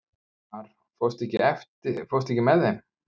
Mar, ekki fórstu með þeim?